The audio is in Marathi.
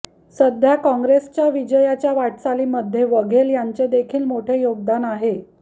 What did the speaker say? सध्या काँग्रेसच्या विजयाच्या वाटचालीमध्ये वघेल यांचे देखील मोठे योगदान आहे